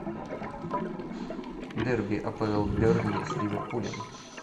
дерби апл бернли с ливерпулем